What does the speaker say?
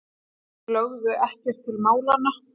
Lögðu ekkert til málanna.